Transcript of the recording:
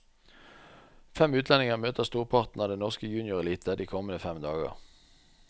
Fem utlendinger møter storparten av den norske juniorelite de kommende fem dager.